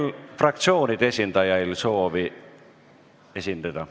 Kas fraktsioonide esindajail on veel soovi esineda?